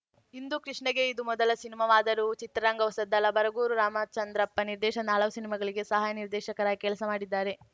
ಹಿಂದೂ ಕೃಷ್ಣಗೆ ಇದು ಮೊದಲ ಸಿನಿಮಾವಾದರೂ ಚಿತ್ರರಂಗ ಹೊಸದಲ್ಲ ಬರಗೂರು ರಾಮಚಂದ್ರಪ್ಪ ನಿರ್ದೇಶನದ ಹಲವು ಸಿನಿಮಾಗಳಿಗೆ ಸಹಾಯಕ ನಿರ್ದೇಶಕರಾಗಿ ಕೆಲಸ ಮಾಡಿದ್ದಾರೆ